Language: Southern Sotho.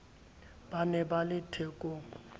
ba ne ba le thekong